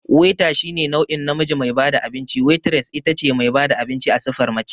Waiter shine nau'in namiji me bada abinci, Waitress itace mai bada abinci a siffar mace